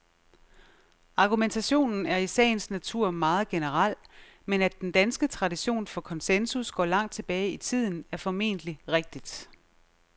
Argumentationen er i sagens natur meget generel, men at den danske tradition for konsensus går langt tilbage i tiden, er formentlig rigtigt.